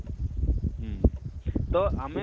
ହୁଁ ତ ଆମେ